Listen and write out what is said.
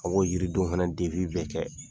A b'o yiridon fana bɛɛ kɛ.